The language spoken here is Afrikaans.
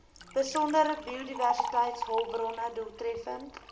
besondere biodiversiteitshulpbronne doeltreffend